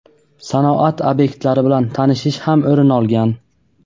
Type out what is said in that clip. sanoat ob’ektlari bilan tanishish ham o‘rin olgan.